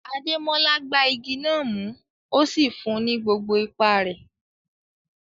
Ademola gbá igi náà mú, ó sì fún un ní gbogbo ipá rẹ̀.